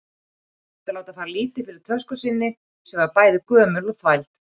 Hann reyndi að láta fara lítið fyrir tösku sinni, sem var bæði gömul og þvæld.